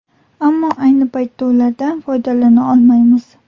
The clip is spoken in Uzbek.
Ammo ayni paytda ulardan foydalana olmaymiz.